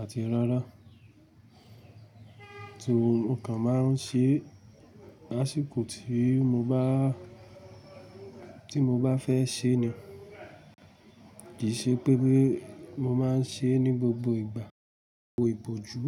àti rárá. So mo kan máa ń ṣe lásìkò tí mo bá, tí mo bá fẹ́ ṣe ni, kì í ṣe pé pé mo máa ń ṣe ní gbogbo ìgbà wo ìbòjú.